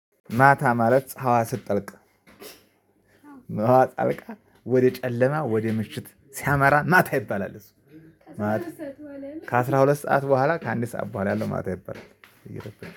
ማታ ማለት ጸሃይዋ ስትጠልቅ ሀዋ ጠልቃ ወደ ጨለማ ወደ ምሽት ሲያመራ ማታ ይባላል እሱ። ማታ ከአስራ ሁለት ሰዓት በኋላ ከአንድ ሰዓት በኋላ ያለው ማታ ይባላል።